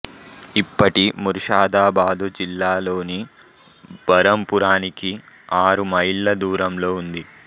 ఇప్పటి ముర్షాదా బాదు జిల్లాలోని బరంపురానికి ఆరు మైళ్ళ దూరంలో ఉంది